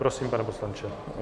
Prosím, pane poslanče.